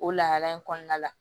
O lahala in kɔnɔna la